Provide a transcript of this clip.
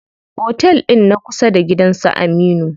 Otel ɗin na kusa da gidan su Aminu.